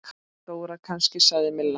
Dóra kannski? sagði Milla.